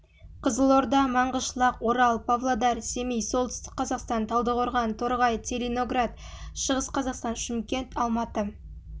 қызылорда маңғышлақ орал павлодар семей солтүстік қазақстан талдықорған торғай целиноград шығыс қазақстан шымкент алматы